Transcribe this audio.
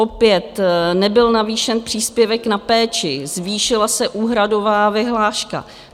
Opět nebyl navýšen příspěvek na péči, zvýšila se úhradová vyhláška.